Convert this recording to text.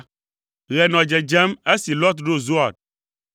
Ɣe nɔ dzedzem esi Lot ɖo Zoar.